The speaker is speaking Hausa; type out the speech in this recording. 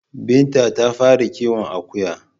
Binta ta fara kiwon Akuya